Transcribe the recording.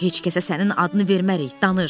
Heç kəsə sənin adını vermərik, danış.